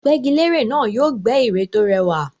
Gbẹ́gilére náà yóò gbẹ́ ère tó rẹwà